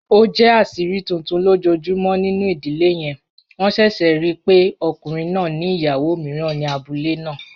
O jẹ aṣiri tuntun lojoojumọ ninu idile yẹn, wọn ṣẹṣẹ rii pe ọkunrin naa ni iyawo miiran ni abule naa.